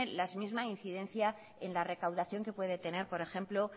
la misma incidencia en la recaudación que puede tener por ejemplo